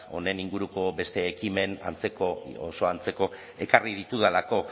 honen inguruko beste ekimen antzeko oso antzeko ekarri ditudalako